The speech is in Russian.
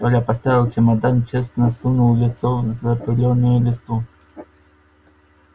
коля поставил чемодан честно сунул лицо в запылённую листву